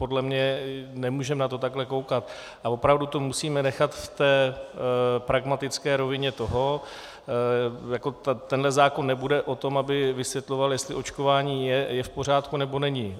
Podle mě nemůžeme na to takhle koukat a opravdu to musíme nechat v té pragmatické rovině toho - tenhle zákon nebude o tom, aby vysvětloval, jestli očkování je v pořádku, nebo není.